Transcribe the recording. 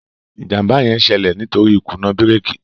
ìjàmbá yén ṣẹlẹ nítorí ikuna bírékì